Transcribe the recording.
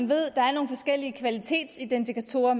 ved at der er nogle forskellige kvalitetsidentifikatorer